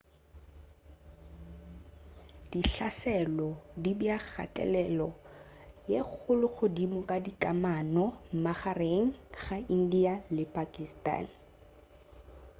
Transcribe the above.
dihlaselo di bea kgathelelo ye kgolo godimo ga dikamano magareng ga india le pakistan